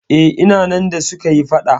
Eh, ina nan da suka yi faɗa.